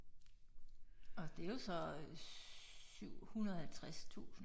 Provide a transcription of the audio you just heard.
Og det jo så øh 750000